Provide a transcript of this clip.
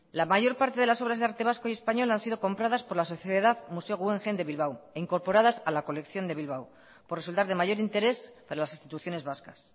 la mayor parte de las obras de arte vasco y español han sido compradas por la sociedad museo guggenheim de bilbao e incorporadas a la colección de bilbao por resultar de mayor interés para las instituciones vascas